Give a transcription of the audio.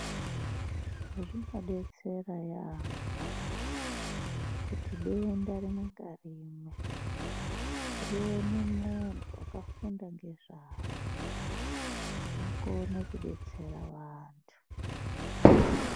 Zvinodetsera yaambo kuti denda rimwe ngarimwe rione muntu wakafunda ngezvaro akone kudetsera vantu.